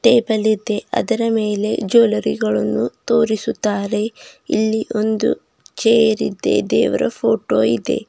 ಟೇಬಲ್ಲಿ ದೆ ಅದರ ಮೇಲೆ ಜುಯೆಲೆರಿ ಗಳನ್ನು ತೋರಿಸುತ್ತಾರೆ ಇಲ್ಲಿ ಒಂದು ಚೇರಿ ದೆ ದೇವರ ಫೋಟೋ ಇದೆ.